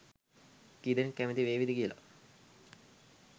කීදෙනෙක් කැමති වේවිද කියල.